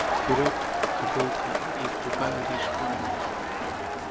вперёд кобылка и прибавил ей шпорами